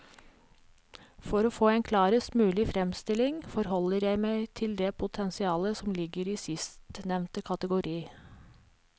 For å få en klarest mulig fremstilling forholder jeg meg til det potensialet som ligger i sistnevnte kategori.